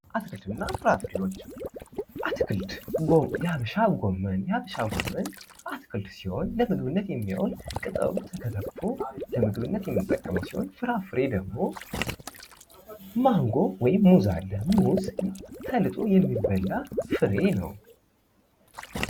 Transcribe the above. አትክልትና ፍራፍሬዎች አትክልት የሀበሻ ጐመን የሀበሻ ጐመን አትክልት ሲሆን ፤ ለምግብነት የሚውል ቀጠሉ ተከታትፎ ለምግብነት የሚጠቀሙ ሲሆን ፤ ፍራፍሬ ደግሞ ማንጐ ወይም ሙዝ አለ። ሙዝ ተለይቶ የሚበላ ፍሬ ነው።